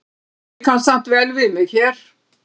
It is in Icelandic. Ég kann samt vel við mig hér.